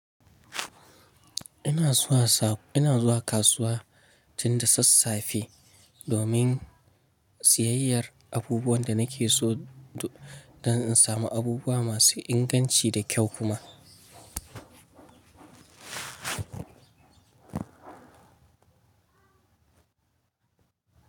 Ina zuwa kasuwa tin da sassafe domin siyayyar abubuwan da nake so don in samu abubuwa masu inganci da kyau kuma.